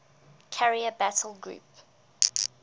carrier battle group